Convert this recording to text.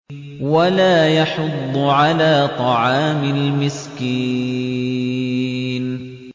وَلَا يَحُضُّ عَلَىٰ طَعَامِ الْمِسْكِينِ